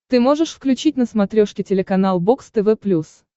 ты можешь включить на смотрешке телеканал бокс тв плюс